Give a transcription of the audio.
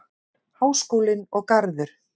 Háskólinn og Garður.